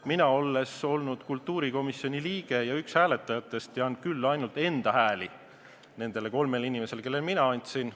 Mina, olles kultuurikomisjoni liige ja üks hääletajatest, tean küll ainult enda hääli nendele kolmele inimesele, kellele ma need andsin.